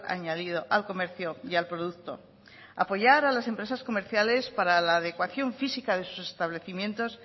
añadido al comercio y al producto apoyar a las empresas comerciales para la adecuación física de sus establecimientos